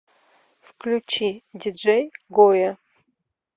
включи диджей гойя